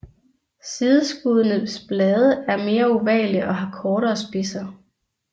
Sideskuddenes blade er mere ovale og har kortere spidser